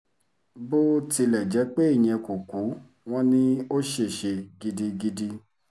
bó tilẹ̀ jẹ́ pé ìyẹn kò kú wọn ni ò ṣèṣe gidigidi